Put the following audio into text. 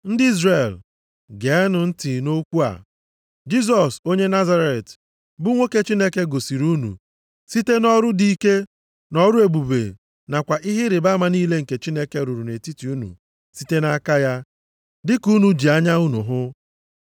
“Ndị Izrel, geenụ ntị nʼokwu a, Jisọs onye Nazaret bụ nwoke Chineke gosiri unu, site nʼọrụ dị ike, nʼọrụ ebube nakwa ihe ịrịbama niile nke Chineke rụrụ nʼetiti unu site nʼaka ya, dịka unu ji anya unu hụ.